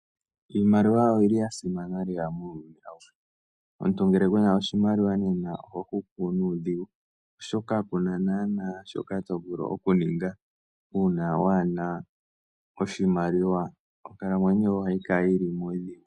Iimaliwa oyi li ya simana lela muuyuni awuhe. Omuntu nena ngele ku na oshimaliwa oho hupu nuudhigu, oshoka ku na shoka to vulu oku ninga uuna waa he na oshimaliwa, onkalamwenyo yoye ohayi kala yi li muudhigu.